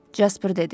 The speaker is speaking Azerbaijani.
Jasper dedi.